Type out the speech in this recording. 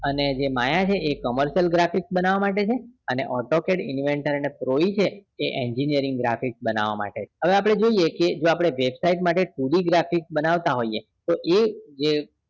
અને જે માયા છે commercial graphics બનાવવા માટે છે અને auto pad inventor અને pro E છે એ engineering graphics બનાવવા માટે છે હવે આપણે જોઈએ કે જો આપણે website માટે two D graphics બનાવતા હોઈએ તો એ જે